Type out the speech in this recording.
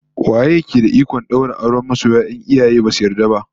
Waye yake da ikon daura auren masiya in iyaye basu yarda ba?